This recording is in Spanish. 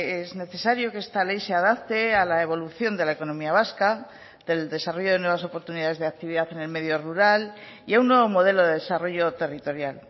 es necesario que esta ley se adapte a la evolución de la economía vasca del desarrollo de nuevas oportunidades de actividad en el medio rural y a un nuevo modelo de desarrollo territorial